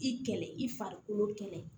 I kɛlɛ i farikolo kɛlɛ